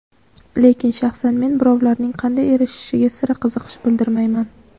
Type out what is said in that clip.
Lekin shaxsan men birovlarning qanday erishishiga sira qiziqish bildirmayman.